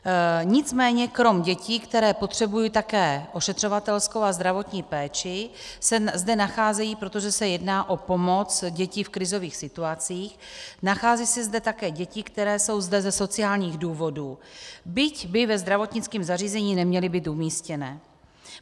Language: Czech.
Nicméně krom dětí, které potřebují také ošetřovatelskou a zdravotní péči, se zde nacházejí, protože se jedná o pomoc, děti v krizových situacích, nacházejí se zde také děti, které jsou zde ze sociálních důvodů, byť by ve zdravotnickém zařízení neměly být umístěné.